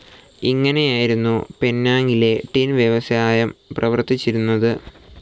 ഇങ്ങനെയായിരുന്നു പെനാംങ്ങിലെ ടിൻ വ്യവസായം പ്രവർത്തിച്ചിരുന്നത്.